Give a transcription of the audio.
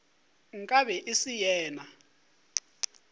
nka be e se yena